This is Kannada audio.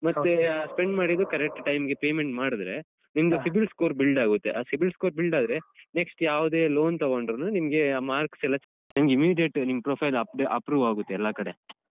ಮತ್ತೆ spend ಮಾಡಿದ್ದು correct time ಗೆ payment ಮಾಡಿದ್ರೆ ನಿಮ್ದು cibil Score build ಆಗುತ್ತೆ ಆ cibil Score build ಆದ್ರೆ next ಯಾವ್ದೆ loan ತಗೊಂಡ್ರುನು ನಿಮ್ಗೆ ಆ marks ಎಲ್ಲ ನಿಮ್ಗೆ immediate ನಿಮ್ profile approve ಆಗುತ್ತೆ ಎಲ್ಲಾ ಕಡೆ.